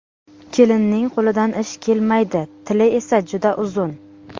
Kelinning qo‘lidan ish kelmaydi, tili esa juda uzun.